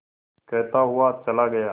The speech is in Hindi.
कहता हुआ चला गया